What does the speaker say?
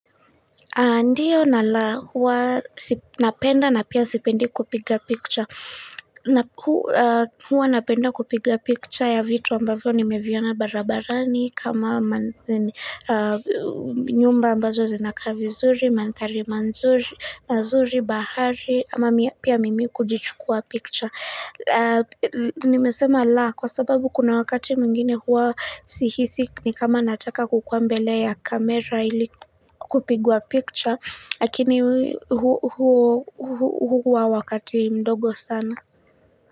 Ndiyo na la, huwa napenda na pia sipendi kupiga picture. Huwa napenda kupiga picture ya vitu ambavyo nimeviona barabarani, kama nyumba ambazo zinakaa vizuri, mandhari mazuri, mazuri, bahari, ama pia mimi kujichukua picha. Nimesema la, kwa sababu kuna wakati mwingine huwa sihisi, ni kama nataka kukua mbele ya kamera ili kupigwa picha lakini huo huwa wakati mdogo sana.